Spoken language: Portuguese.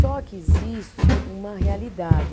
Só que existe uma realidade.